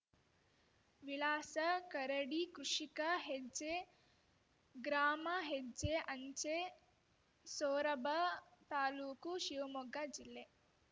ವಿಳಾಸ ಕರಡಿ ಕೃಷಿಕ ಹೆಜ್ಜೆ ಗ್ರಾಮ ಹೆಚ್ಚೆ ಅಂಚೆ ಸೋರಬ ತಾಲೂಕು ಶಿವಮೊಗ್ಗ ಜಿಲ್ಲೆ